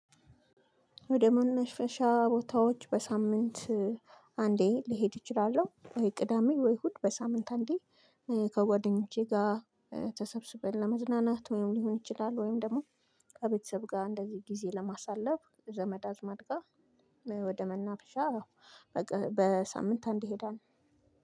ወደ መነፈሻ ቦታዎች በሳምንት አንዴ ልሄድ እችላለው? ወይ ቅዳሜ ወይ እሁድ በሳምንት አንዴ ከጓደኞቼ ጋር ተሰብስበን ለመዝናናት ወይም ሊሆን ይችላል። ወይም ደግሞ ከቤተሰብ ጋር እንደዚህ ጊዜ ለማሳለፍ ዘመድ አዝማድ ጋር። ወደ መናፈሻ በሳምንት አንዴ እሄዳለው።